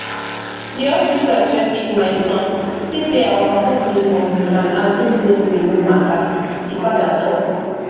di officers wey pick my son see say our home dey humble and assume say we no matter di father tok